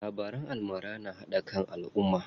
Labaran almara na haɗa kan alumma.